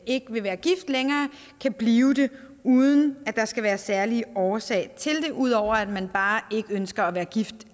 ikke vil være gift længere kan blive det uden at der skal være en særlig årsag til det ud over at man bare ikke ønsker at være gift